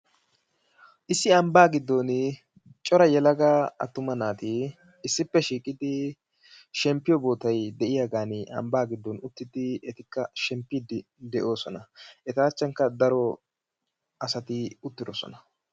Issi ambba giddon cora yelaga attuma naati issippe shiqidi shemppiyo bootay de'iyagani ambba giddon uttidi etikka shemppiidi de"osona. Eta achchankka daro asati uttidosona.